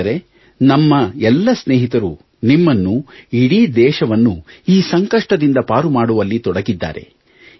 ಸ್ನೇಹಿತರೆ ನಮ್ಮ ಎಲ್ಲ ಸ್ನೇಹಿತರು ನಿಮ್ಮನ್ನು ಇಡೀ ದೇಶವನ್ನು ಈ ಸಂಕಷ್ಟದಿಂದ ಪಾರು ಮಾಡುವಲ್ಲಿ ತೊಡಗಿದ್ದಾರೆ